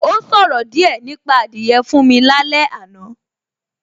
Ó ṣòro díẹ̀ nípa adìyẹ fún mi lálé àná